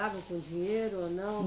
com dinheiro ou não?